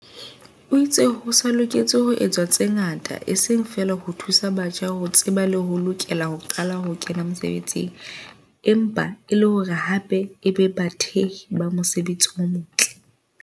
O itse ho sa loketse ho etswa tse ngata eseng feela ho thusa batjha ho tseba le ho lokela ho qala ho kena mesebetsing, empa e le hore hape e be bathehi ba mosebetsi o motle.